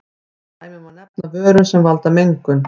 Sem dæmi má nefna vörur sem valda mengun.